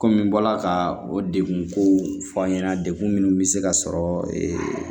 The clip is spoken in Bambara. Kɔmi n bɔra ka o degun kow fɔ an ɲɛna degun minnu bɛ se ka sɔrɔ